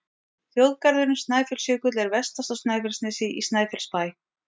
Þjóðgarðurinn Snæfellsjökull er vestast á Snæfellsnesi, í Snæfellsbæ.